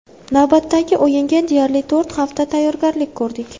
Navbatdagi o‘yinga deyarli to‘rt hafta tayyorgarlik ko‘rdik.